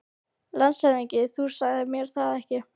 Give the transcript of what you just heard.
LANDSHÖFÐINGI: Þú sagðir mér það ekki.